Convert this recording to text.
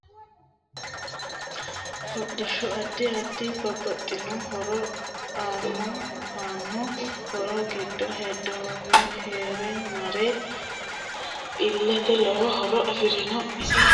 Hodhishu addi addita babaxitinno horo aanno aanno horo giddo hedooniwa rahe mare iilate lowo horo afirinno isi haranni leelanno doogo addi addi hayyo horoonsi'ne loonsoonite